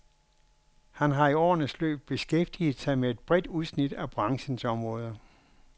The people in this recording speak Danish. Han har i årenes løb beskæftiget sig med et bredt udsnit af branchens områder.